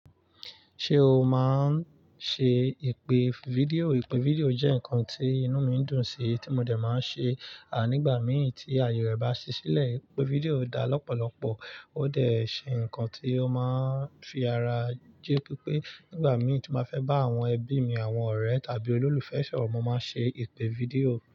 Ṣé o máa ń ṣe ìpè fídíò? Ìpè fídíò jẹ́ ǹkan tí inú mi ń dùn sí tí mo dẹ̀ máa ń ṣe, nígbà mì tí àyè rẹ̀ bá ṣí sílẹ̀, ìpè fídíò dá lọ́pọ̀lọpọ̀. Ódẹ̀ ṣé ǹkan tí ó máa ń fi ara jẹ́. Nígbà mí tín bá feba àwọn ẹbí mi, àwọn ọ̀rẹ́ tàbí olólùfẹ́ sọ̀rọ̀, mo máa ń ṣe ìpè fídíò.